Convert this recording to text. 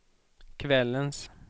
kvällens